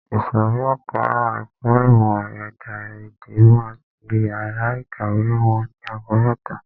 Ìsòrí ẹka ẹ̀kọ́ ìmọ̀ ẹ̀dá-èdè máa ti yàrá ìkàwé wọn ni ago mẹ́ta.